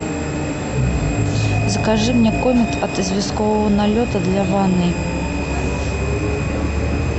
закажи мне комет от известкового налета для ванной